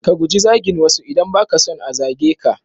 Ka guji zagin wasu idan ba ka son a zage ka.